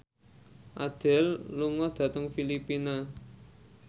Adele lunga dhateng Filipina